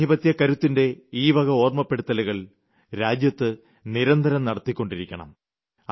ജനാധിപത്യക്കരുത്തിന്റെ ഈ വക ഓർമ്മപ്പെടുത്തലുകൾ രാജ്യത്ത് നിരന്തരം നടത്തിക്കൊണ്ടിരിക്കണം